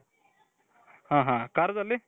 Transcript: ಹಾ ಹಾ ಖಾರದಲ್ಲಿ .